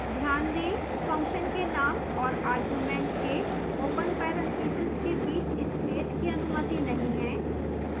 ध्यान दें function के name और argument के open parentheses के बीच space की अनुमति नहीं है